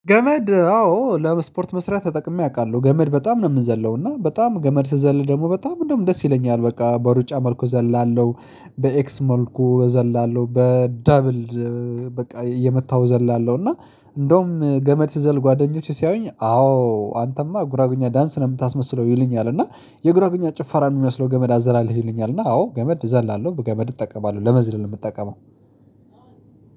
ገመድ አዎ ለስፖርት መስራት ተጠቅሜ አውቃለሁ ገመድ በጣም ነው የምንዘለው እና በጣም ገመድ ስዘል ደግሞ በጣም እንደውም ደስ ይለኛል በቃ በሩጫ መልኩ ዘለላለሁ በኤክስ መልኩ እዘላለሁ በደብል። በቃ እየመታው እዘላለሁ እና እንደውም ገመት ስዘል ጓደኞቼ ሲያዩኝ አዎ አንተማ ጉራጌኛ ዳንስ ነው የምታስመስለው ይሉኛል። እና የጉራጌኛ ጭፈራ ነው የሚመስለው ገመድ አዘላለለህ ይሉኛል። እና አዎ ገመድ እዘላለሁ በገመድ እጠቀማለሁ ለመዝለል የምጠቀመው